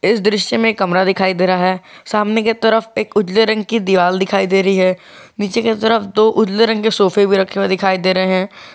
इस दृश्य में कमरा दिखाई दे रहा है सामने की तरफ एक उजले रंग की दीवाल दिखाई दे रही है नीचे की तरफ दो उजले रंग के सोफे भी रखे हुए दिखाई दे रहे है।